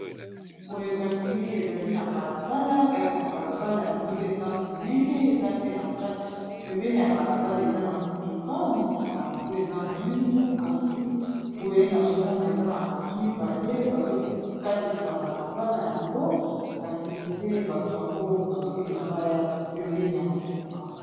Boye kasiye ezali na balabala. Kasi na balabala yango eza monene, eza pepembeni ya balabala eza na motuka. Motuka yango eza mwindu. Kasi boye, nazo mona eza na bato mibale bazo katisa balabala yango. Kasi nde, bato yango bazolinga baya pembeni ya motuka.